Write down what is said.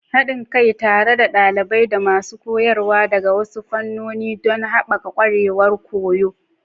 Haɗin kai tare da ɗalibai da masu koyarwa daga wasu fannoni don haɓaka ƙwarewar koyo.